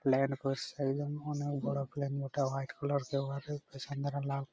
Plan অনেক বড়ো plan ওটা হোয়াইট কালার লাল--।